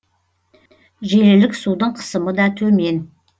желілік судың қысымы да төмен